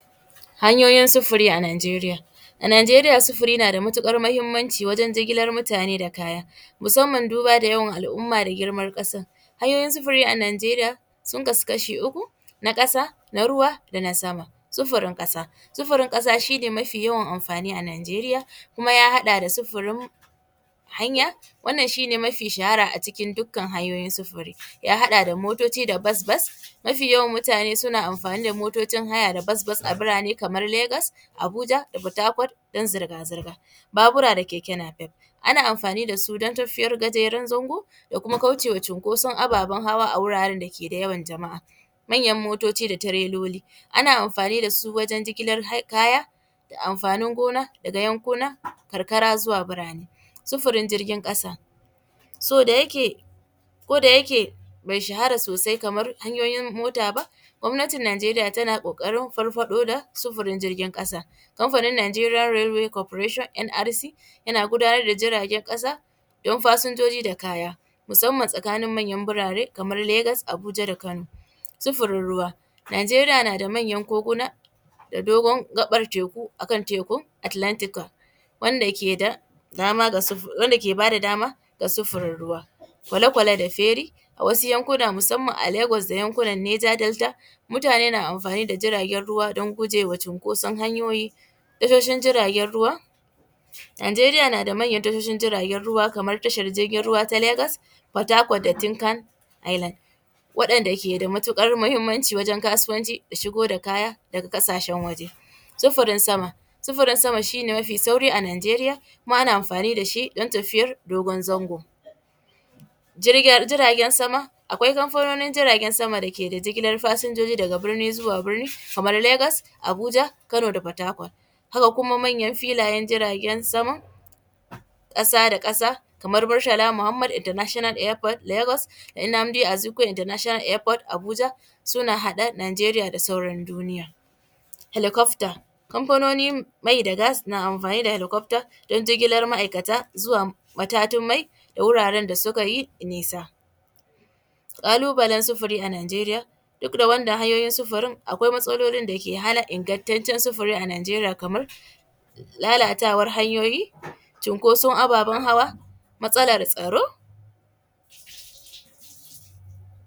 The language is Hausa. Idan kana da kuɗi to gidanka zai zamo matattarar sirikanka a kodayaushe.